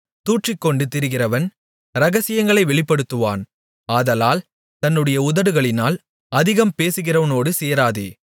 தூற்றிக்கொண்டு திரிகிறவன் இரகசியங்களை வெளிப்படுத்துவான் ஆதலால் தன்னுடைய உதடுகளினால் அதிகம் பேசுகிறவனோடு சேராதே